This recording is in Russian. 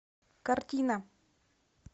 картина